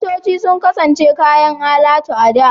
Motoci sun kasance kayan alatu a da.